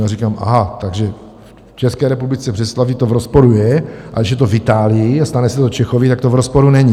Já říkám: Aha, takže v České republice v Břeclavi to v rozporu je, a když je to v Itálii a stane se to Čechovi, tak to v rozporu není!